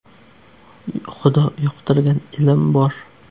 Xudo yuqtirgan ilm bor!